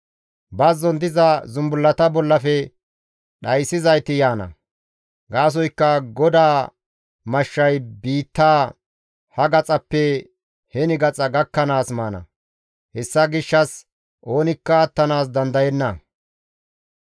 Bazzon diza zumbullata bollafe dhayssizayti yaana; gaasoykka GODAA mashshay biitta ha gaxaappe he gaxa gakkanaas maana. Hessa gishshas oonikka attanaas dandayenna.